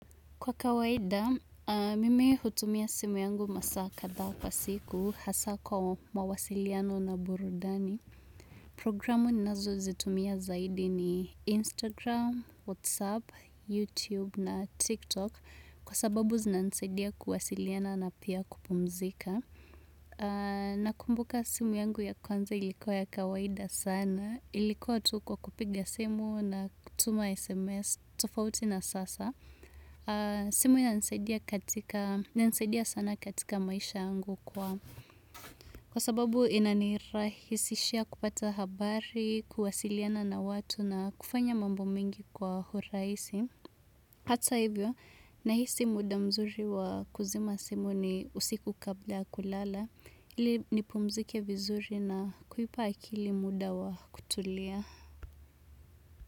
Kwa kawaida, mimi hutumia simu yangu masaa kadhaa kwa siku hasa kwa mawasiliano na burudani. Programu nazo zitumia zaidi ni Instagram, Whatsapp, YouTube na TikTok kwa sababu zinansadia kuwasiliana na pia kupumzika. Nakumbuka simu yangu ya kwanza ilikua ya kawaida sana. Ilikua tu kwa kupiga simu na kutuma SMS. Tofauti na sasa. Simu inanisaidia katika inanisaidia sana katika maisha yangu kwa. Kwa sababu ina nirahisishia kupata habari, kuwasiliana na watu na kufanya mambo mingi kwa huraisi. Hata hivyo, nahisi muda mzuri wa kuzima simu ni usiku kabla ya kulala. Ili nipumzike vizuri na kuipa akili muda wa kutulia.